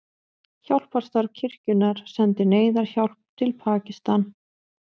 Hjálparstarf kirkjunnar sendir neyðarhjálp til Pakistan